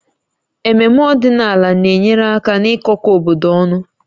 Ememme ọdịnala na-enyere aka n'ịkọkọ obodo ọnụ